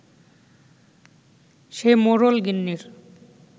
সে মোড়ল-গিন্নির